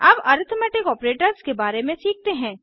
अब arithmetic operators के बारे में सीखते हैं